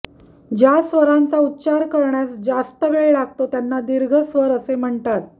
ज्या स्वरांचा उच्चार करण्यास जास्त वेळ लागतो त्यांना दीर्घ स्वर असे म्हणतात